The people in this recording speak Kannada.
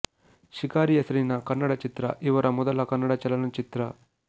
ಶಿಕಾರಿ ಹೆಸರಿನ ಕನ್ನಡ ಚಿತ್ರ ಇವರ ಮೊದಲ ಕನ್ನಡ ಚಲನಚಿತ್ರ